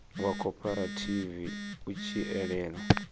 wa khophorethivi u tshi elana